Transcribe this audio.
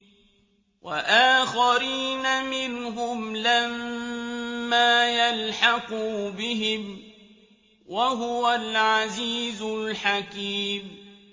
وَآخَرِينَ مِنْهُمْ لَمَّا يَلْحَقُوا بِهِمْ ۚ وَهُوَ الْعَزِيزُ الْحَكِيمُ